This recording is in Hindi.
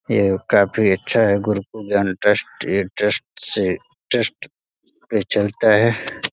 ये काफी अच्छा है गुरुकुल ज्ञान ट्रस्ट ये ट्रस्ट से ट्रस्ट चलता है।